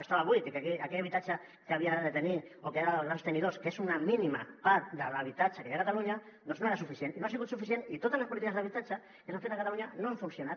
estava buit i que aquell habitatge que havia de tenir o que era dels grans tenidors que és una mínima part de l’habitatge que hi ha a catalunya no era suficient i no ha sigut suficient i totes les polítiques d’habitatge que s’han fet a catalunya no han funcionat